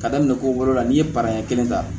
Ka daminɛ ko wolo la n'i ye paran kelen ta